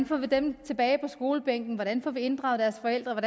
får dem tilbage på skolebænken hvordan man får inddraget deres forældre og